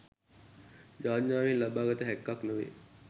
යාඥාවෙන් ලබා ගත හැක්කක් නොවේ.